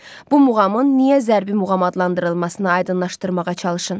Bu muğamın niyə zərbi muğam adlandırılmasına aydınlaşdırmağa çalışın.